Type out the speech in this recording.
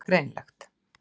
Það var greinilegt.